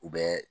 U bɛ